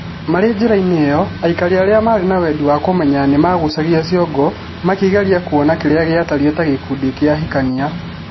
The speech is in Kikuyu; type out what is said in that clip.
Marĩ njĩra-inĩ ĩo, aikari arĩa maarĩ ma wendi wa kũmenya nĩ maagucagia ciongo makĩgeria kũona kĩrĩa gĩatariĩ ta gĩkundi kĩa ahikania.